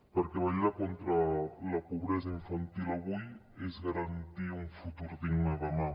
perquè vetllar contra la pobresa infantil avui és garantir un futur digne demà